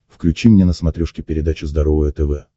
включи мне на смотрешке передачу здоровое тв